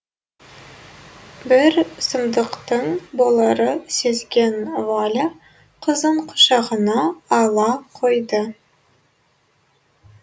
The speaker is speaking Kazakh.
бір сұмдықтың боларын сезген валя қызын құшағына ала қойды